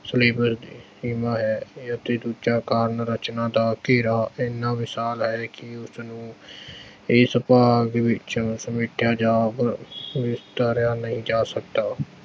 ਸੀਮਾ ਹੈ ਅਤੇ ਦੂਜਾ ਰਚਨਾ ਦਾ ਘੇਰਾ ਏਨਾ ਵਿਸ਼ਾਲ ਹੈ ਕਿ ਉਸਨੂੰ ਇਸ ਭਾਗ ਵਿੱਚੋਂ ਸਮੇਟਿਆ ਜਾ ਅਰ ਨਿਤਾਰਿਆ ਨਹੀਂ ਜਾ ਸਕਦਾ।